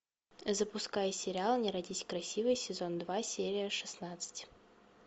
запускай сериал не родись красивой сезон два серия шестнадцать